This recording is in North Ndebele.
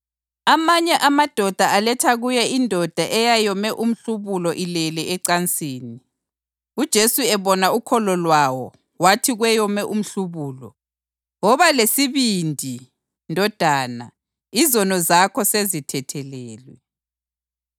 Amanye amadoda aletha kuye indoda eyayome umhlubulo ilele ecansini. UJesu ebona ukholo lwawo wathi kweyome umhlubulo, “Woba lesibindi, ndodana; izono zakho sezithethelelwe.”